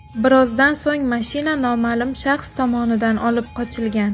Birozdan so‘ng mashina noma’lum shaxs tomonidan olib qochilgan.